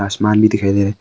आसमान भी दिखाई दे रहा--